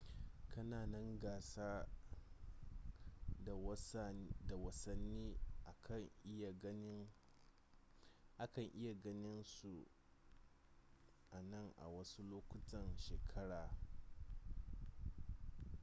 kananan gasa da wasani a kan iya ganin su anan a wasu lokutan shekara